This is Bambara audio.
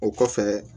O kɔfɛ